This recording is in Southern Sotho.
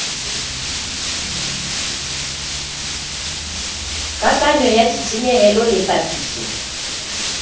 kakanyo ya ditshenyehelo le papiso